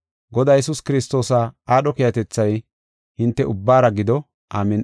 Godaa Yesuus Kiristoosa aadho keehatethay hinte ubbaara gido. Amin7i.